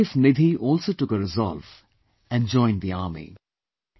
His wife Nidhi also took a resolve and joined the army